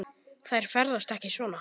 Þær ferðast ekki svona.